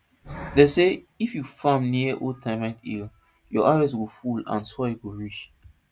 dem say if you farm near old termite hill your harvest go full and soil go rich